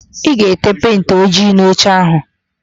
Ị ga-ete pentị ojii n'oche áhụ̀?